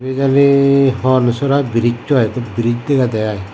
. ibay jani hon sora brize brize daga de i.